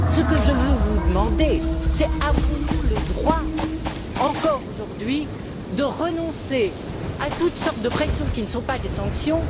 Ce que je veux vous demander, c'est si nous avons le droit, encore aujourd'hui, de renoncer à toutes sortes de pressions qui ne sont pas des sanctions?